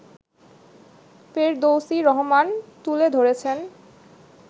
ফেরদৌসী রহমান তুলে ধরেছেন